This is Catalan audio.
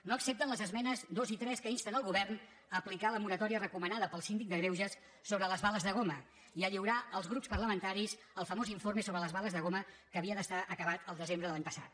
no accepten les esmenes dos i tres que insten el govern a aplicar la moratòria recomanada pel síndic de greuges sobre les bales de goma i a lliurar als grups parlamentaris el famós informe sobre les bales de goma que havia d’estar acabat al desembre de l’any passat